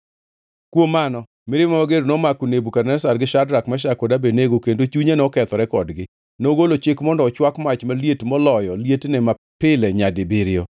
Kuom mano, mirima mager nomako Nebukadneza gi Shadrak, Meshak kod Abednego kendo chunye nokethore kodgi. Nogolo chik mondo ochwak mach maliet moloyo lietne mapile nyadibiriyo,